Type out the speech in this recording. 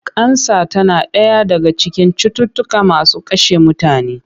Kansa tana ɗaya daga cikin cututtuka masu kashe mutane.